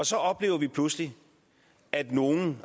så oplever vi pludselig at nogle